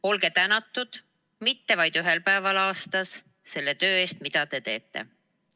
Olge tänatud – mitte vaid ühel päeval aastas – selle töö eest, mida te teete.